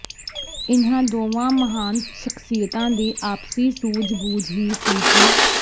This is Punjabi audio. ਇਨ੍ਹਾਂ ਦੋਵਾਂ ਮਹਾਨ ਸ਼ਖ਼ਸੀਅਤਾਂ ਦੀ ਆਪਸੀ ਸੂਝਬੂਝ ਹੀ ਸੀ ਕਿ